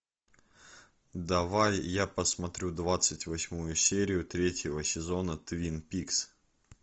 давай я посмотрю двадцать восьмую серию третьего сезона твин пикс